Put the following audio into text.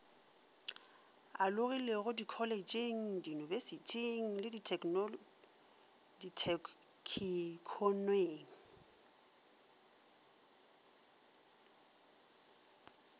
alogilego dikholetšheng diyunibesithing le ditheknikhoneng